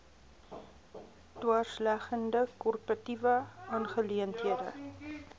dwarsleggende korporatiewe aangeleenthede